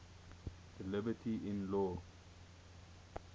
thy liberty in law